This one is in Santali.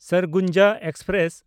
ᱥᱟᱨᱜᱩᱡᱟ ᱮᱠᱥᱯᱨᱮᱥ